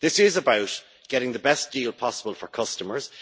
This is about getting the best deal possible for customers.